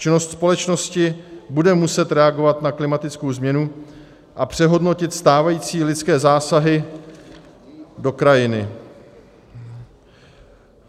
Činnost společnosti bude muset reagovat na klimatickou změnu a přehodnotit stávající lidské zásahy do krajiny.